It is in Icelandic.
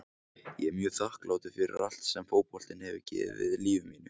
Ég er mjög þakklátur fyrir allt sem fótboltinn hefur gefið lífi mínu.